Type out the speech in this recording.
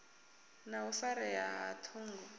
na u farea ha ṱhungu